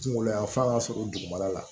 Kunkolo yan fan ka sɔrɔ dugumana la